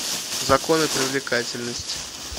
законы привлекательности